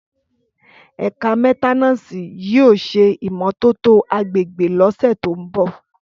Ẹkà mẹtẹnàsí yio sẹ ìmómòtótò àgbẹgbẹ lọsẹ to mbọ